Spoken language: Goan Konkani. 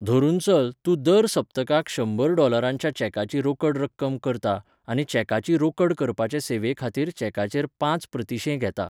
धरून चल, तूं दर सप्तकाक शंबर डॉलरांच्या चॅकाची रोकड रक्कम करता, आनी चॅकाची रोकड करपाचे सेवेखातीर चॅकाचेर पांच प्रतिशें घेता.